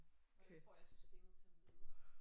Hvordan får jeg systemet til at møde?